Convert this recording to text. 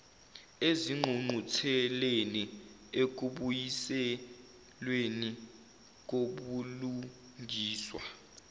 ezingqungqutheleni ekubuyiselweni kobulungiswa